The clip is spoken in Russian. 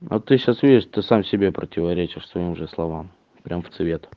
а ты сейчас видишь ты сам себе противоречишь своим же словам прям в цвет